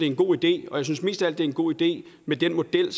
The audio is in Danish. en god idé og jeg synes mest af alt at det er en god idé med den model